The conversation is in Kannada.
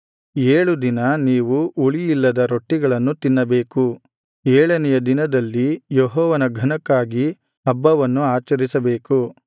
ಏಳು ದಿನ ನೀವು ಹುಳಿಯಿಲ್ಲದ ರೊಟ್ಟಿಗಳನ್ನು ತಿನ್ನಬೇಕು ಏಳನೆಯ ದಿನದಲ್ಲಿ ಯೆಹೋವನ ಘನಕ್ಕಾಗಿ ಹಬ್ಬವನ್ನು ಆಚರಿಸಬೇಕು